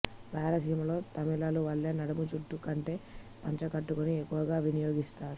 రాయలసీమలో తమిళుల వలె నడుము చ్టుటూ కట్టే పంచెకట్టుని ఎక్కువగా వినియోగిస్తారు